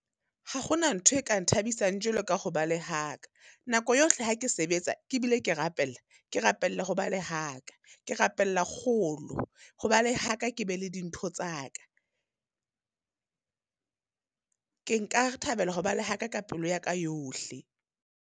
Ha hona ntho e ka nthabisang jwalo ka ho ba le ha ka. Nako yohle ha ke sebetsa ke bile ke rapella, ke rapella ho ba le ha ka. Ke rapella kgolo, ho ba le ha ka, ke be le dintho tsa ka. Ke nka thabela ho ba le ha ka ka pelo ya ka yohle.